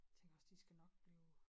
Tænker også de skal nok blive